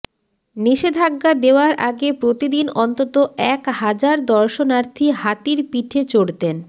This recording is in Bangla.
নিষেধাজ্ঞা দেওয়ার আগে প্রতিদিন অন্তত এক হাজার দর্শনার্থী হাতির পিঠে চড়তেন